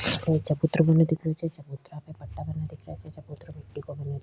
यह चबूतरा बने दिख रयो छे चबूतरा पे पट्टा बने दिख रहे छे चबूतरा मिटटी का बना --